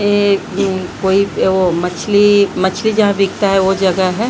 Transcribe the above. ये कोई वो मछली मछली जहां बिकता है वो जगह है।